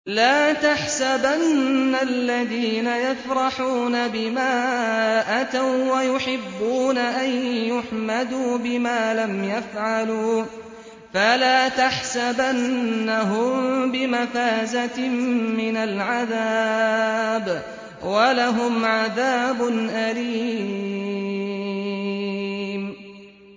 لَا تَحْسَبَنَّ الَّذِينَ يَفْرَحُونَ بِمَا أَتَوا وَّيُحِبُّونَ أَن يُحْمَدُوا بِمَا لَمْ يَفْعَلُوا فَلَا تَحْسَبَنَّهُم بِمَفَازَةٍ مِّنَ الْعَذَابِ ۖ وَلَهُمْ عَذَابٌ أَلِيمٌ